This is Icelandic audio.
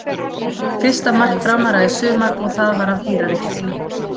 Fyrsta mark Framara í sumar og það var af dýrari gerðinni.